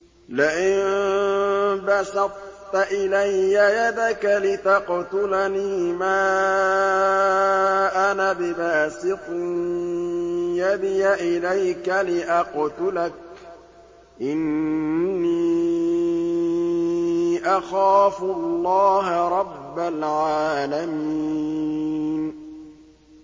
لَئِن بَسَطتَ إِلَيَّ يَدَكَ لِتَقْتُلَنِي مَا أَنَا بِبَاسِطٍ يَدِيَ إِلَيْكَ لِأَقْتُلَكَ ۖ إِنِّي أَخَافُ اللَّهَ رَبَّ الْعَالَمِينَ